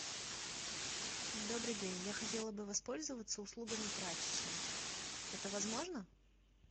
добрый день я хотела бы воспользоваться услугами прачечной это возможно